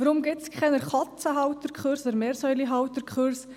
Weshalb gibt es keine Katzen- oder Meerschweinchen-Halterkurse?